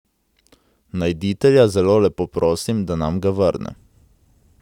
Najditelja zelo lepo prosim, da nam ga vrne.